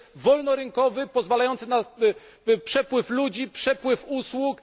jest wolnorynkowy, pozwalający na przepływ ludzi, przepływ usług.